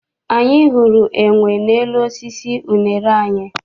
Anyị hụrụ enwe n'elu osisi unere anyị.